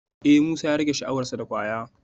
Eh Musa ya rage sha'awar sa da kwaya